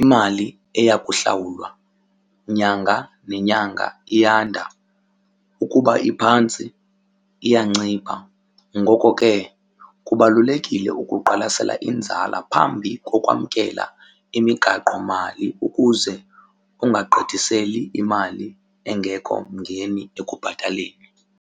imali eya kuhlawulwa nyanga nenyanga iyanda, ukuba iphantsi iyancipha. Ngoko ke kubalulekile ukuqwalasela inzala phambi kokwamkelwa imigaqomali ukuze ungagqithiseli imali engekho mngeni ekubhataleni.